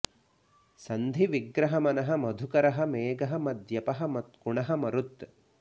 सन्धि विग्रह मनः मधुकरः मेघः मद्यपः मत्कुणः मरुत्